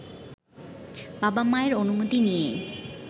বাবা-মায়ের অনুমতি নিয়েই